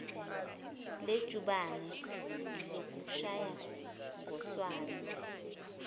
lejubane ngizokushaya ngoswazi